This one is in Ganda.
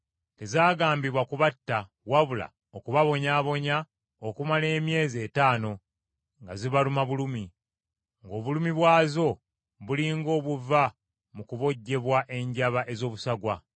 Tezaagambibwa kubatta wabula okubabonyaabonya okumala emyezi etaano nga zibaluma bulumi, ng’obulumi bwazo buli ng’obuva mu kubojjebwa enjaba ez’obusagwa.